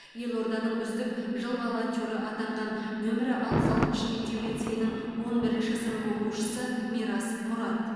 елорданың үздік жыл волонтеры атанған нөмірі алпыс алтыншы мектеп лицейінің он бірінші сынып оқушысы мирас мұрат